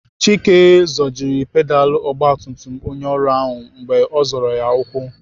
Chike zọjiri pedalụ ọgbatumtum onye ọrụ ahụ mgbe ọ zọrọ ya ukwu.